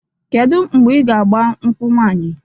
Kedu mgbe i ga agba nkwụ nwanyị?